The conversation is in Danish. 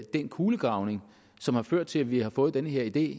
den kulegravning som har ført til vi har fået den her idé